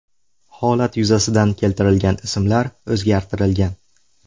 Holat yuzasidan keltirilgan ismlar o‘zgartirilgan.